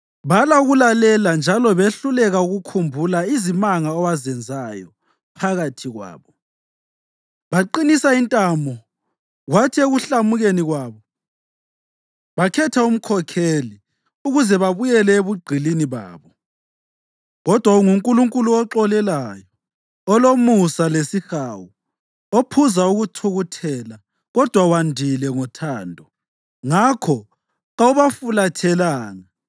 Bala ukulalela njalo behluleka ukukhumbula izimanga owazenzayo phakathi kwabo. Baqinisa intamo kwathi ekuhlamukeni kwabo bakhetha umkhokheli ukuze babuyele ebugqilini babo. Kodwa unguNkulunkulu oxolelayo, olomusa lesihawu, ophuza ukuthukuthela kodwa wandile ngothando. Ngakho kawubafulathelanga,